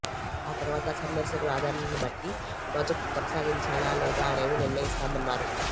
ఆ తరువాత సందర్శకుల ఆదరణ ను బట్టి ప్రాజెక్టు కొనసాగించాలా లేదా అనేది నిర్ణయిస్తామన్నారు